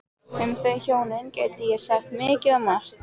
Um þau hjónin gæti ég sagt mikið og margt.